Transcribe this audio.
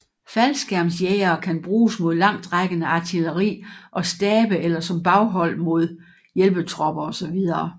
Faldskærmsjægere kan bruges mod langtrækkende artilleri og stabe eller som baghold mod hjælpetropper osv